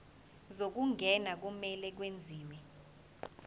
zokungena kumele kwenziwe